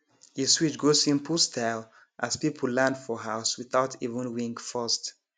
e switch go simple style as people land for house without even ring first